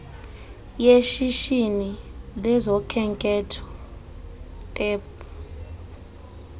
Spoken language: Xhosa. yeshishini lezokhenketho tep